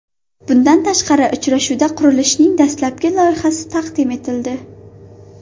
Bundan tashqari uchrashuvda qurilishning dastlabki loyihasi taqdim etildi.